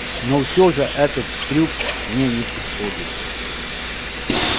но все же этот трюк мне не подходит